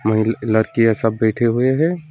लड़कियां सब बैठे हुए हैं।